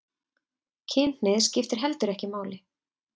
Kynhneigð skiptir heldur ekki máli